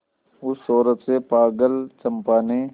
उस सौरभ से पागल चंपा ने